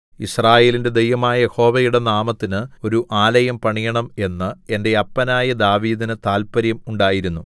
യിസ്രായേലിന്റെ ദൈവമായ യഹോവയുടെ നാമത്തിന് ഒരു ആലയം പണിയണം എന്ന് എന്റെ അപ്പനായ ദാവീദിന് താല്പര്യം ഉണ്ടായിരുന്നു